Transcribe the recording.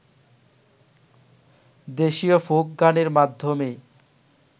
দেশীয় ফোক গানের মাধ্যমেই